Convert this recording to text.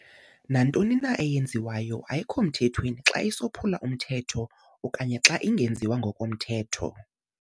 Nantoni na eyenziwayo ayikho mthethweni xa isophula umthetho okanye xa ingenziwa ngokomthetho.